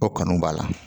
O kanu b'a la